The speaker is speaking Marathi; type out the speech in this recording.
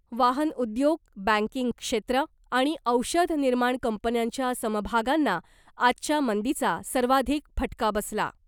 वाहन उद्योग , बँकिंग क्षेत्र आणि औषध निर्माण कंपन्यांच्या समभागांना आजच्या मंदीचा सर्वाधिक फटका बसला .